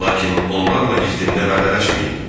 Lakin onlarla gizdində vədələşməyin.